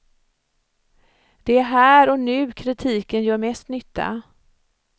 Det är här och nu kritiken gör mest nytta.